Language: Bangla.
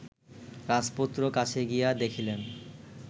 রাজপুত্র কাছে গিয়া দেখিলেন